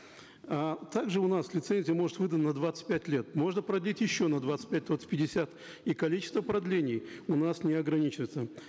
а также у нас лицензия может выдана на двадцать пять лет можно продлить еще на двадцать пять вот в пятьдесят и количество продлений у нас не ограничивается